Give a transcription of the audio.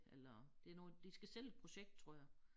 Eller det noget de skal sælge et projekt tror jeg